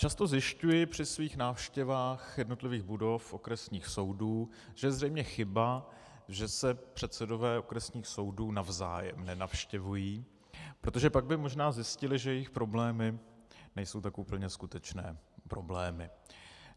Často zjišťuji při svých návštěvách jednotlivých budov okresních soudů, že je zřejmě chyba, že se předsedové okresních soudů navzájem nenavštěvují, protože pak by možná zjistili, že jejich problémy nejsou tak úplně skutečné problémy.